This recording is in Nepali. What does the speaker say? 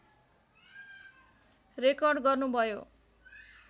रेकर्ड गर्नुभयो